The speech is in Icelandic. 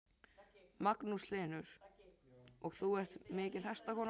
Magnús Hlynur: Og þú ert mikil hestakona?